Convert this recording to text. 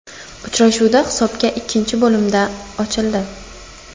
Uchrashuvda hisob ikkinchi bo‘limda ochildi.